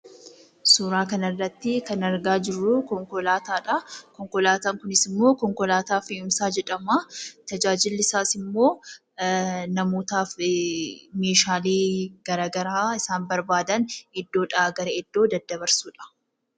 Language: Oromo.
Suuraa kanarratti kan argaa jirruu konkolaataadha. Konkolaataa kunis immoo konkolaataa fe'umsa jedhama. Tajaajilli isaas immoo namootaaf meeshaalee garaagaraa isaan barbaadan iddoodhaa gara iddoo daddabarsuudha.